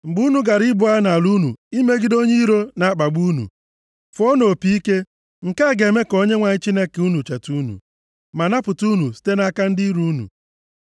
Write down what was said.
Mgbe unu gara ibu agha nʼala unu imegide onye iro na-akpagbu unu, fụọnụ opi ike. Nke a ga-eme ka Onyenwe anyị Chineke unu cheta unu, ma napụta unu site nʼaka ndị iro unu.